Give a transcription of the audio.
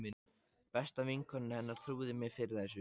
Besta vinkona hennar trúði mér fyrir þessu.